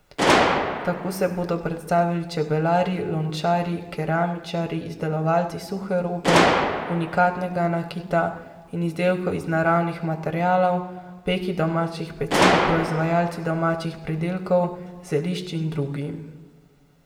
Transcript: Tako se bodo predstavili čebelarji, lončarji, keramičarji, izdelovalci suhe robe, unikatnega nakita in izdelkov iz naravnih materialov, peki domačih peciv, proizvajalci domačih pridelkov, zelišč in drugi.